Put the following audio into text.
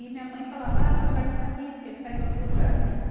E minha mãe falava, ah, seu pai não está aqui, porque ele está em outro lugar.